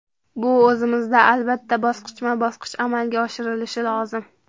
Bu o‘zimizda albatta, bosqichma-bosqich amalga oshirilishi lozim.